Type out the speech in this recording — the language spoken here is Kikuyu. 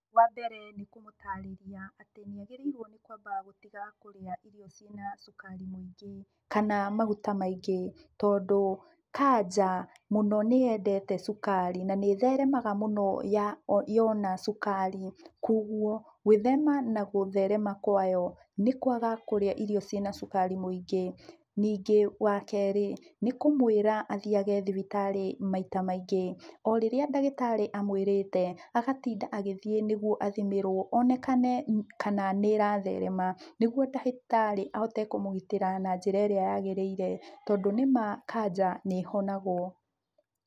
Wambere nĩ kũmũtarĩria, atĩ nĩagĩrĩirũo nĩ kũamba gũtiga kũrĩa irio ciĩna cukari mũingĩ kana maguta maingĩ, tondũ, kanja, mũno nĩyendete cukari na nĩĩtheremaga mũno yona cukari, kuoguo gwĩthema na gũtherema kwayo, nĩ kwaga kũrĩa irio ciĩna cukari mũingĩ. Ningĩ, wakerĩ, nĩkũmũĩra athiage thibitarĩ maita maingĩ. O rĩrĩa ndagĩtarĩ amũĩrĩte, agatinda agĩthiĩ nĩguo athimĩrũo onekane kana nĩĩratherema, nĩguo ndagĩtarĩ ahotage kũmũgitĩra na njĩra ĩrĩa yagĩrĩire, tondũ nĩma kanja nĩĩhonagũo.